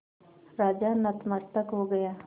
राजा नतमस्तक हो गया